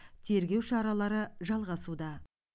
тергеу шаралары жалғасуда